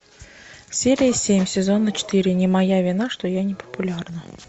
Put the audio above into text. серия семь сезона четыре не моя вина что я не популярна